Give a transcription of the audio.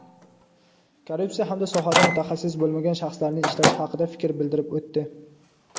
korrupsiya hamda sohada mutaxassis bo‘lmagan shaxslarning ishlashi haqida fikr bildirib o‘tdi.